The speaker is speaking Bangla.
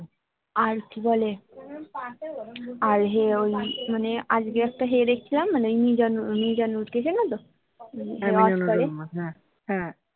আর কি বলে আর ওই মানে আজকে একটা হে দেখছিলাম মানে ওই মিজানুর মিজানুর কে চেনো তো